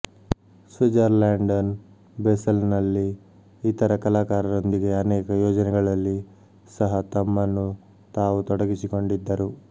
ಸ್ವಿಜರ್ಲ್ಯಾಂಡನ್ ಬೇಸಲ್ನಲ್ಲಿ ಇತರ ಕಲಾಕಾರರೊಂದಿಗೆ ಅನೇಕ ಯೋಜನೆಗಳಲ್ಲಿ ಸಹ ತಮ್ಮನ್ನು ತಾವು ತೊಡಗಿಸಿಕೊಂಡಿದ್ದರು